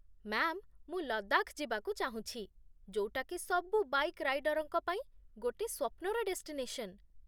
Ma'am, ମୁଁ ଲଦାଖ ଯିବାକୁ ଚାହୁଁଛି, ଯୋଉଟାକି ସବୁ ବାଇକ୍ ରାଇଡର୍‌ଙ୍କ ପାଇଁ ଗୋଟେ ସ୍ୱପ୍ନର ଡେଷ୍ଟିନେସନ୍ ।